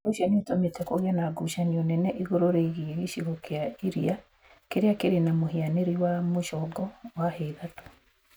Ũndũ ũcio nĩ ũtũmĩte kũgĩe na ngucanio nene igũrũ rĩgiĩ gĩcigo kĩa iria kĩrĩa kĩrĩ na mũhianĩrĩ wa mũcongo wa hia ithatũ .